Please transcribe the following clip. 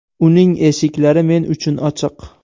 Uning eshiklari men uchun ochiq.